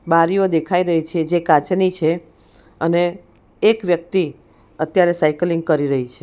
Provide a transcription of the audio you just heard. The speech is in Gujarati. બારીઓ દેખાઈ રહી છે જે કાચની છે અને એક વ્યક્તિ અત્યારે સાયકલિંગ કરી રહી છે.